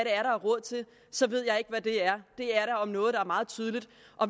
er råd til så ved jeg ikke hvad det er det er da om noget meget tydeligt